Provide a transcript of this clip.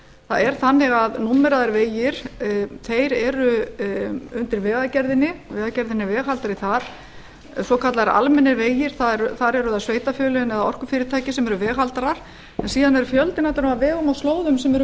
það er þannig að númeraðir vegir eru undir vegagerðinni vegagerðin er veghaldari þar svokallaðir almennir vegir þar eru það sveitarfélögin eða orkufyrirtækin sem eru veghaldari en síðan er fjöldinn allur af vegum og slóðum sem eru